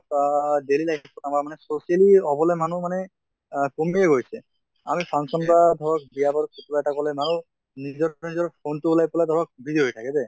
আহ daily life ত আমাৰ মানে socially হʼবলৈ মানুহ মানে আ কমিয়ে গৈছে। আমি function বা ধৰক বিয়া বাৰু এটা গʼলে মানুহ নিজত নিজৰ phone টো ওলাই পালে ধৰক busy হৈ থাকে দে